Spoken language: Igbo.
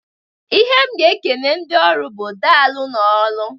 Ihe m ga-ekene ndị ọrụ bụ, "Daalụnụ ọrụ!"